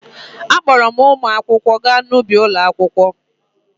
A kpọọrọ ụmụ akwụkwọ gaa n'ubi ụlọakwụkwọ.